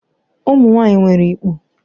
Ụmụ nwanyị nwere ikpu.